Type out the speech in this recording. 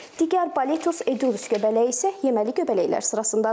Digər Boletus Edulis göbələyi isə yeməli göbələklər sırasındadır.